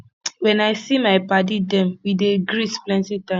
wen i see my paddy dem we dey greet plenty times